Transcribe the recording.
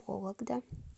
вологда